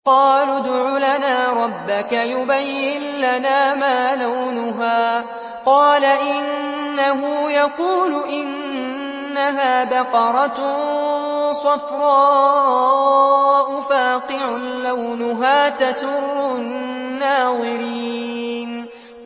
قَالُوا ادْعُ لَنَا رَبَّكَ يُبَيِّن لَّنَا مَا لَوْنُهَا ۚ قَالَ إِنَّهُ يَقُولُ إِنَّهَا بَقَرَةٌ صَفْرَاءُ فَاقِعٌ لَّوْنُهَا تَسُرُّ النَّاظِرِينَ